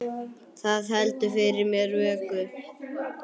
Það heldur fyrir mér vöku.